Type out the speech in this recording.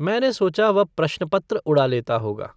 मैंने सोचा, वह प्रश्नपत्र उड़ा लेता होगा।